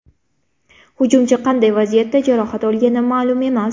Hujumchi qanday vaziyatda jarohat olgani ma’lum emas.